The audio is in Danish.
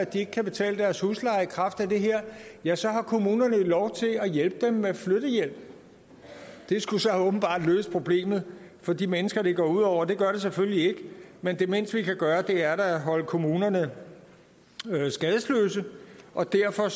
de ikke kan betale deres husleje i kraft af det her ja så har kommunerne lov til at hjælpe dem med flyttehjælp det skulle så åbenbart løse problemet for de mennesker det går ud over det gør det selvfølgelig ikke men det mindste vi kan gøre er da at holde kommunerne skadesløse og derfor